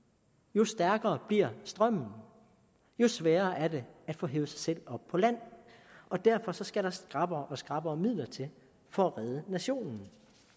jo stærkere bliver strømmen og jo sværere er det at få hevet sig selv op på land og derfor skal der skrappere og skrappere midler til for at redde nationen